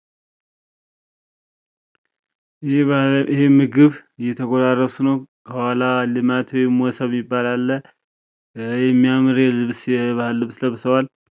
ይህ ምግብ እየተጎራረሱ ነው ከኋላ ሌማት ወይም ሞሰብ ሚባል አለ። የሚያምር የልብስ የባህል ልብስ ለብሰዋል።